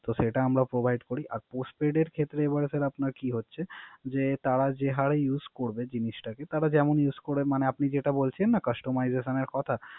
তো সেটা আমরা Provide করি। আর Postpaid ক্ষেত্রে এবারে তাহলে আপনার কি হচ্ছে। যে তারা যে হারে Use করতে জিনিসটাকে তারা যেমন Use করে । আপনি যেটা বলেছেন না Customization এর কথা